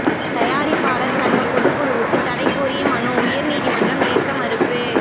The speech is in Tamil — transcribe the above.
தயாரிப்பாளர் சங்க பொதுக்குழுவுக்கு தடை கோரிய மனு உயர் நீதிமன்றம் ஏற்க மறுப்பு